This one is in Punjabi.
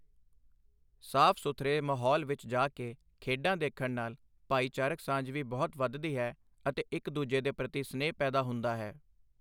ਸਾਫ਼ ਸੁਥਰੇ ਮਾਹੌਲ ਵਿੱਚ ਜਾ ਕੇ ਖੇਡਾਂ ਦੇਖਣ ਨਾਲ ਭਾਈਚਾਰਕ ਸਾਂਝ ਵੀ ਬਹੁਤ ਵੱਧਦੀ ਹੈ ਅਤੇ ਇੱਕ ਦੂਜੇ ਦੇ ਪ੍ਰਤੀ ਸਨੇਹ ਪੈਦਾ ਹੁੰਦਾ ਹੈ।